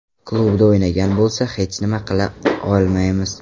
Klubida o‘ynagan bo‘lsa hech nima qila olmaymiz.